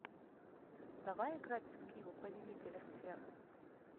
давай играть в скилл повелители сфер